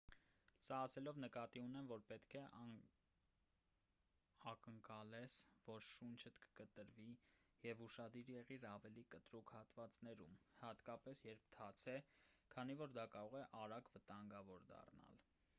սա ասելով նկատի ունեմ որ պետք է ակնկալես որ շունչդ կկտրվի և ուշադիր եղիր ավելի կտրուկ հատվածներում հատկապես երբ թաց է քանի որ դա կարող է արագ վտանգավոր դառնալ